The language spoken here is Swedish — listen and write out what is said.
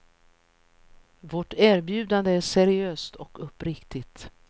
Vårt erbjudande är seriöst och uppriktigt.